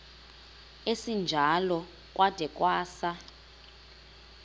esinjalo kwada kwasa